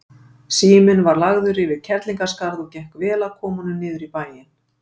Síminn var lagður yfir Kerlingarskarð og gekk vel að koma honum niður í bæinn.